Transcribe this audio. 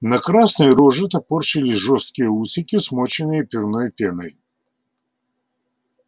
на красной роже топорщились жёсткие усики смоченные пивной пеной